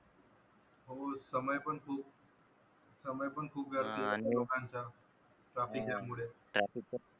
हो समय पण खूप समय पण खूप गर्दीत जात लोकांच traffic jam मुळे